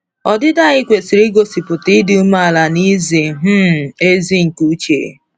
Ọdịdị anyị kwesịrị igosipụta ịdị umeala na izi um ezi nke uche.